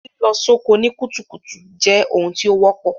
Lílọ soko ni kùtùkùtù je oun tí o wọ́pọ̀